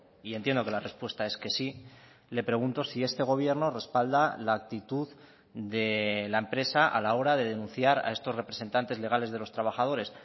y entiendo que la respuesta es que sí le pregunto si este gobierno respalda la actitud de la empresa a la hora de denunciar a estos representantes legales de los trabajadores